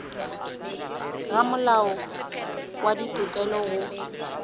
go molao wa ditokelo go